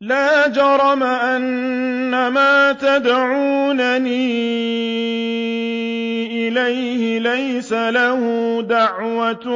لَا جَرَمَ أَنَّمَا تَدْعُونَنِي إِلَيْهِ لَيْسَ لَهُ دَعْوَةٌ